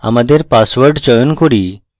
আমাদের পাসওয়ার্ড চয়ন করি